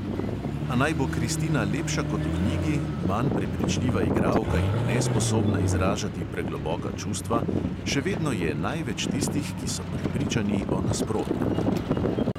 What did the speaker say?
A naj bo kristina lepša kot v knjigi, manj prepričljiva igralka in nesposobna izražati pregloboka čustva, še vedno je največ tistih, ki so prepričani o nasprotnem.